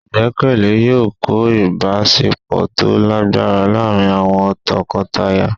igbekele yọọ kọ ìbáṣepọ to lagbara laarín awọn tọkọtaya